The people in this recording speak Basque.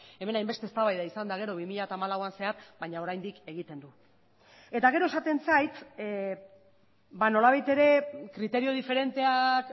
hemen hainbeste eztabaida izan eta gero bi mila hamalauan zehar baina oraindik egiten du eta gero esaten zait nolabait ere kriterio diferenteak